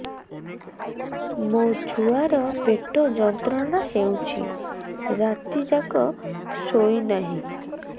ମୋ ଛୁଆର ପେଟ ଯନ୍ତ୍ରଣା ହେଉଛି ରାତି ଯାକ ଶୋଇନାହିଁ